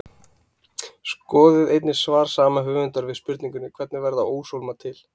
Skoðið einnig svar sama höfundar við spurningunni Hvernig verða óshólmar til?